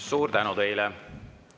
Suur tänu teile!